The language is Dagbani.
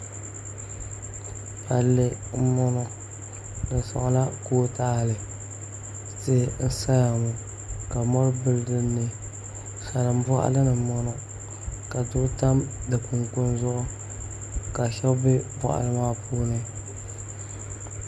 Palli n boŋo di soŋla kootaali tihi n saya ŋo ka mori bili dinni salin boɣali ni n boŋo ka doo tam di kunkun zuɣu ka shab bɛ boɣali maa puuni